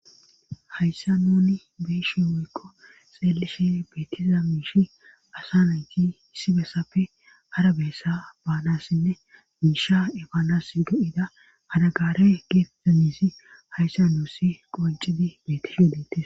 hayssa nuni beeshi wuykko xeelishe beetiza miishi asa nayti hissi bessappe ara bessa baanassinne miisha efaanas go7ida anagaare geetduyizi hayssa nuussi qoncidi leetisho deetes